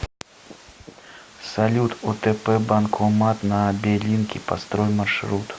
салют отп банкомат на белинке построй маршрут